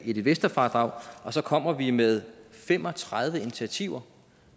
et investorfradrag og så kommer vi med fem og tredive initiativer